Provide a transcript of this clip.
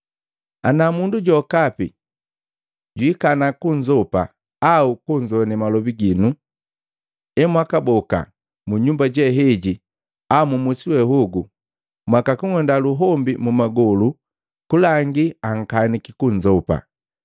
Ana mundu jokapi jwiikana kunzopa au kunzoane malobi ginu, emwakaboka mu nyumba jeheji au musi wehogu, mwakakung'unda luhombi mu magolu kulangi akaniki kunzopa.